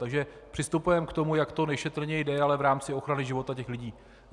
Takže přistupujeme k tomu, jak to nejšetrněji jde, ale v rámci ochrany života těch lidí.